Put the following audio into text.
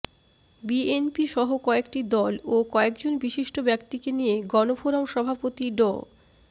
বিএনপিসহ কয়েকটি দল ও কয়েকজন বিশিষ্ট ব্যক্তিকে নিয়ে গণফোরাম সভাপতি ড